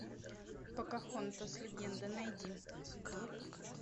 покахонтас легенда найди